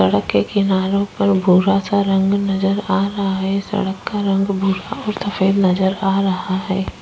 सड़क के किनारों पर एक भूरा-सा रंग नजर आ रहा है। सड़क का रंग भूरा और सफ़ेद नजर आ रहा है।